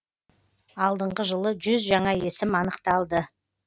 алдыңғы жылы жүз жаңа есім анықталды